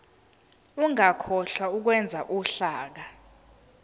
ungakhohlwa ukwenza uhlaka